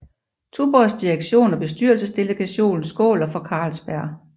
Tuborgs direktion og bestyrelsesdelegation skåler for Carlsberg